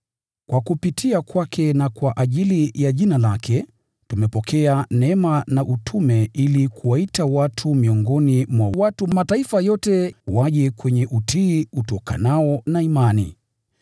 Kwa kupitia kwake na kwa ajili ya Jina lake, tumepokea neema na utume ili kuwaita watu miongoni mwa watu wa mataifa yote, waje kwenye utii utokanao na imani.